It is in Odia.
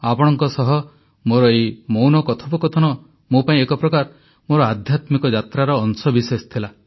ଆପଣଙ୍କ ସହ ମୋର ଏହି ମୌନ କଥୋପକଥନ ମୋ ପାଇଁ ଏକ ପ୍ରକାର ମୋର ଆଧ୍ୟାତ୍ମିକ ଯାତ୍ରାର ଅଂଶବିଶେଷ ଥିଲା